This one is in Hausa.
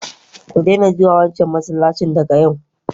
ku daina zuwa wancan masallaci daga yau!